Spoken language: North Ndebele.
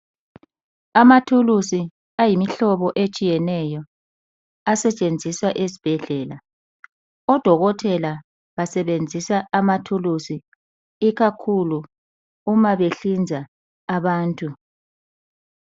Amathulusi ayimihlobo etshiyeneyo asetshenziswa ezibhedlela. Odokotela basebenzisa amathulusi ikakhulu uma behlinza abantu.